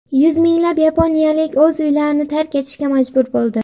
Yuz minglab yaponiyalik o‘z uylarini tark etishga majbur bo‘ldi.